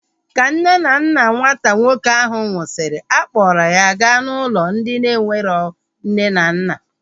Ka nne na nna nwata nwoke ahu nwụsịrị, a kpọrọ ya gaa n'ụlọ ndị enwero nne na nna